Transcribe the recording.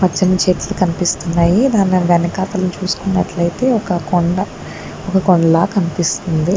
పచ్చని చెట్లు కనిపిస్తున్నాయి దాని దాని వెనకాల చుసుకున్నట్లు అయితే ఒక కొండ హా ఒక కొండ లాగా కనిపిస్తుంది.